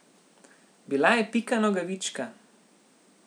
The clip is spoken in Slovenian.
Bila je Pika Nogavička.